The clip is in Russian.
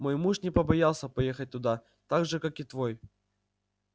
мой муж не побоялся поехать туда так же как и твой